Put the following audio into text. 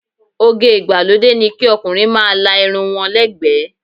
Oge ìgbàlódé ni kí ọkùnrin máa la irun wọn lẹ́ ẹ̀gbẹ́.